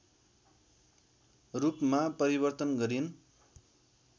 रूपमा परिवर्तन गरिन्